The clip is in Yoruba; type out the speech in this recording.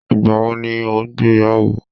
igbawo ni o gbeyawo